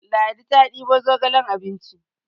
Ladi ta debo zogalen abinci